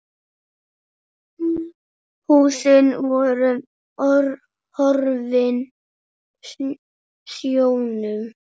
Húsin voru horfin sjónum.